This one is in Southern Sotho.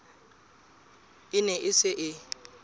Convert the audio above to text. e ne e se e